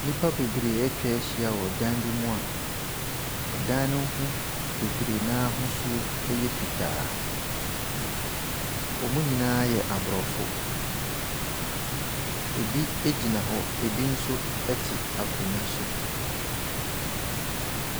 Nnipa bebree atwa ahyia wɔ dan bi mu a dan ne ho bebree n’ahosuo yɛ fitaa. Wɔn nyinaa yɛ aborɔfo. Ɛbi gyina hɔ, na binom so te akonnwa so.